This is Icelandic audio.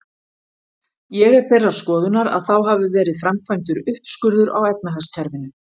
Ég er þeirrar skoðunar, að þá hafi verið framkvæmdur uppskurður á efnahagskerfinu.